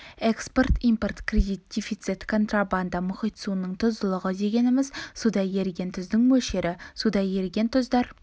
экспорт импорт кредит дефицит контрабанда мұхит суының тұздылығы дегеніміз суда еріген тұздың мөлшері суда еріген тұздар